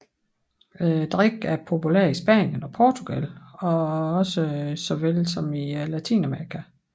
Drikken er populær i Spanien og Portugal såvel som i Latinamerika